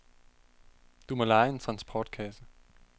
Du må leje en transportkasse.